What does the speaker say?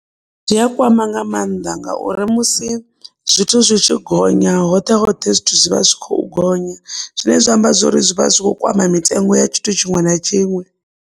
Zwi a kwama nga mannḓa ngauri musi zwithu zwi tshi gonya hoṱhe hoṱhe zwithu zwi vha zwi khou gonya, zwine zwa amba zwori zwi vha zwi kho kwama mitengo ya tshithu tshiṅwe na tshiṅwe.